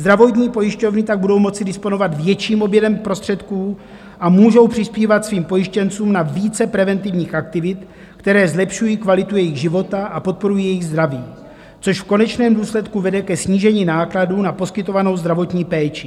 Zdravotní pojišťovny tak budou moci disponovat větším objemem prostředků a můžou přispívat svým pojištěncům na více preventivních aktivit, které zlepšují kvalitu jejich života a podporují jejich zdraví, což v konečném důsledku vede ke snížení nákladů na poskytovanou zdravotní péči.